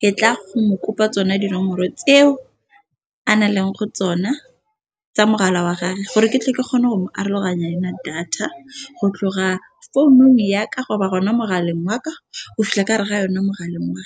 ke tla go mo kopa tsona dinomoro tseo a na leng go tsona tsa mogala wa gage gore ke tle ke kgone go mo aroganya yona data go tloga founung ya ka gore ba rona mogaleng wa ka o fela ka re ga yone mogaleng wa .